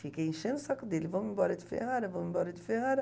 Fiquei enchendo o saco dele, vamos embora de Ferrara, vamos embora de Ferrara.